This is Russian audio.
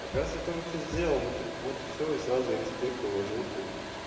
оказывается ты уже всё сделал ну так вот и всё и сразу и респект и уважуха и